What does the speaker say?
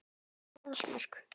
En hvað með sjálfsmörk?